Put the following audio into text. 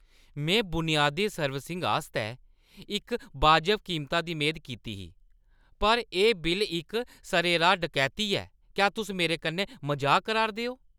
में बुनयादी सर्विसिंग आस्तै इक वाजब कीमता दी मेद कीती ही, पर एह् बिल्ल इक सरेराह् डकैती ऐ! क्या तुस मेरे कन्नै मजाक करा'रदे ओ?